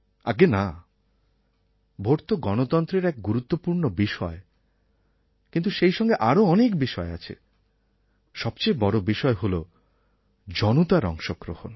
আজ্ঞে না ভোট তো গণতন্ত্রের এক গুরুত্বপূর্ণ বিষয় কিন্তু সেই সঙ্গে আরও অনেক বিষয় আছে সবচেয়ে বড় বিষয় হল জনতার অংশগ্রহণ